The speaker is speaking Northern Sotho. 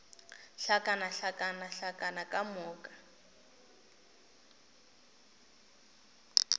hlakana hlakana hlakana ka moka